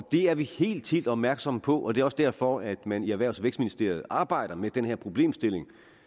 er vi helt helt opmærksomme på og det er også derfor at man i erhvervs og vækstministeriet arbejder med den her problemstilling